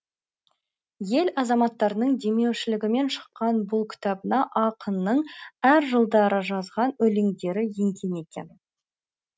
ел азаматтарының демеушілігімен шыққан бұл кітабына ақынның әр жылдары жазған өлеңдері енген екен